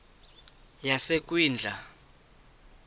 yasekwindla